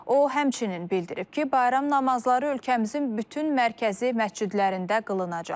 O, həmçinin bildirib ki, bayram namazları ölkəmizin bütün mərkəzi məscidlərində qılınacaq.